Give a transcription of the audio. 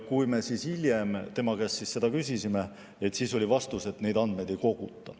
Kui me hiljem tema käest küsisime, siis oli vastus, et neid andmeid ei koguta.